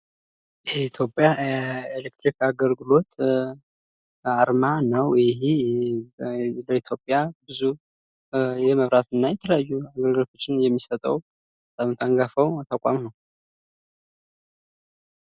የኢትዮጵያ ኤሌክትሪክ አገልግሎት አርማ ነው ።ይሄ በኢትዮጵያ ብዙ የመብራትና የተለያዩ ነገሮችን የሚሰጠው በጣም አንጋፋው ተቋም ነው።